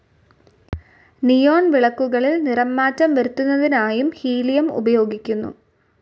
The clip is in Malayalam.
നിയോൺ വിളക്കുകളിൽ നിറമാറ്റം വരുത്തുന്നതിനായുംഹീലിയം ഉപയോഗിക്കുന്നു.